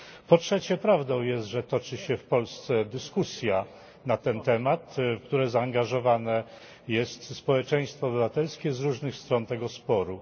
Po trzecie prawdą jest, że toczy się w Polsce dyskusja na ten temat, w którą zaangażowane jest społeczeństwo obywatelskie z różnych stron tego sporu.